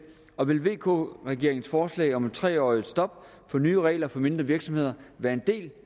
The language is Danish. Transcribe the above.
og vil vk regeringens forslag om et tre års stop for nye regler for mindre virksomheder være en del af